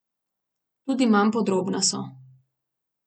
Tudi manj podrobna so.